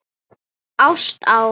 Ást á